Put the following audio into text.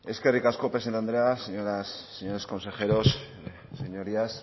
eskerrik asko presidente andrea señoras señores consejeros señorías